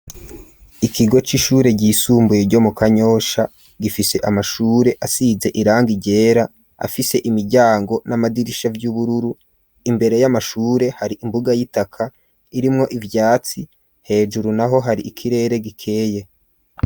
Ikigo c'ishure gisumbuye ryo mu kanyosha gifise amashure asize irangi ryera afise imiryango n'amadirisha vy'ubururu imbere y'amashure hari imbuga y'itaka irimwo ivyatsi hejuru naho hari ikirere gikeye.